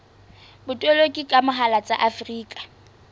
botoloki ka mohala tsa afrika